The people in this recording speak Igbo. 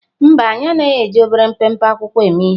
Mba, anyị anaghị eji obere mpempe akwụkwọ eme ihe.